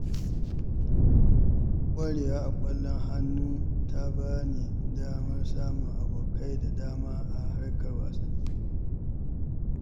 Ƙwarewa a ƙwallon hannu ta ba ni damar samun abokai da dama a harkar wasanni.